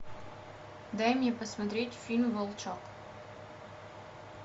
дай мне посмотреть фильм волчок